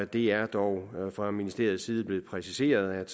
det er dog fra ministeriets side blevet præciseret at